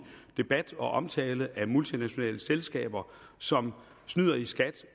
debat og omtale af multinationale selskaber som snyder i skat